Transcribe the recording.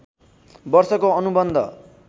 वर्षको अनुबन्ध